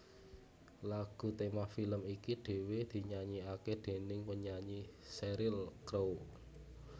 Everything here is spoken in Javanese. Lagu tema film iki dhéwé dinyanyèkaké déning penyanyi Sheryl Crow